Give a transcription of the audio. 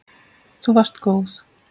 Þú varst góð.